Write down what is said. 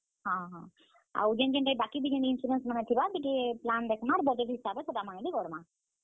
ହଁ ହଁ, ଆଉ ବାକି ଯେନ୍ ଯେନ୍ ଟା ବି insurance ମାନେ ଥିବା plan ଦେଖମା ଆଉ। budget ହିସାବେ ସେଟା ମାନେ ବି କରମା।